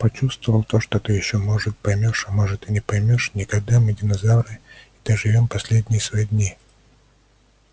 почувствовал то что ты ещё может поймёшь а может и не поймёшь никогда мы динозавры не доживём последние свои дни